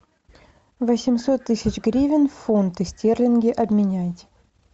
восемьсот тысяч гривен в фунты стерлинги обменять